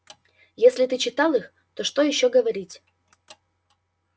если ты читал их то что ещё говорить